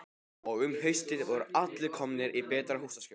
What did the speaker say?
Og um haustið voru allir komnir í betra húsaskjól.